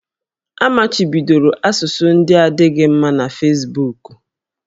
A machibidoro asụsụ ndị na-adịghị mma na Fesbuku